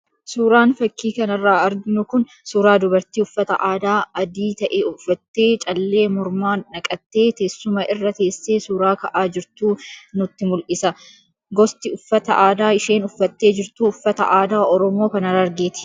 Suuraan fakii kanarraa arginu kun suuraa dubartii uffata aadaa adii ta'e uffattee, callee mormaa naqattee teessuma irra teessee suuraa ka'aa jirtuu nutti mul'isa. Gosti uffata aadaa isheen uffattee jirtuu uffata aadaa Oromoo kan Harargeeti.